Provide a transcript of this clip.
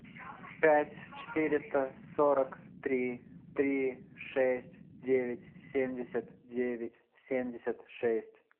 пять четыреста сорок три три шесть девять семьдесят девять семьдесят шесть